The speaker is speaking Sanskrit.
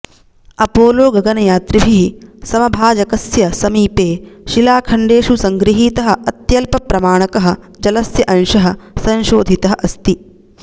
अपोलोगगनयात्रिभिः समभाजकस्य समीपे शिलाखण्डेषु सङ्गृहीतः अत्यल्पप्रमाणकः जलस्य अंशः संशोधितः अस्ति